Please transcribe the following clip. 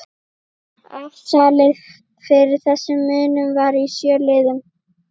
Afsalið fyrir þessum munum var í sjö liðum